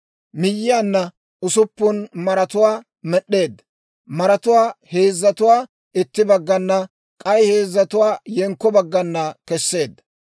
Miyyiyaanna usuppun maratuwaa med'd'eedda; maratuwaa heezzatuwaa itti baggana, k'ay heezzatuwaa yenkko baggana kesseedda.